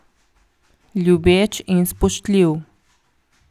Ljubeč in spoštljiv.